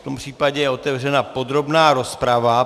V tom případě je otevřena podrobná rozprava.